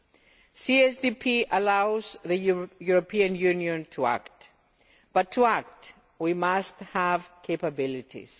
The CSDP allows the European Union to act, but to act we must have capabilities.